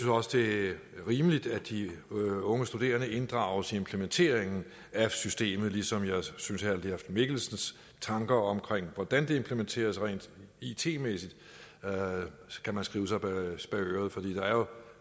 også det er rimeligt at de unge studerende inddrages i implementeringen af systemet ligesom jeg synes at herre leif mikkelsens tanker om hvordan det implanteres rent it mæssigt skal man skrive sig bag øret for